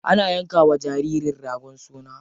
Ana yanka wa jaririn ragon suna.